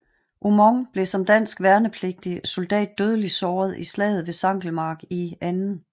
Aumont blev som dansk værnepligtig soldat dødeligt såret i slaget ved Sankelmark i 2